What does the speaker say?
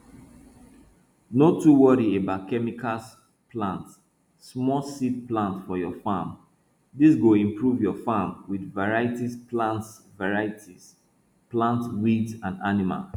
no too worry about chemicals plant smallseed plant for your farm dis go improve your farm with variety plants variety plants weeds and animals